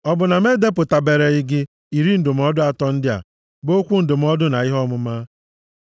Ọ bụ na m edepụtabereghị gị iri ndụmọdụ atọ ndị a, bụ okwu ndụmọdụ na ihe ọmụma?